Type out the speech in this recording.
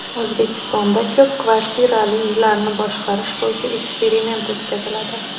O‘zbekistonda ko‘p kvartirali uylarni boshqarish bo‘yicha eksperiment o‘tkaziladi.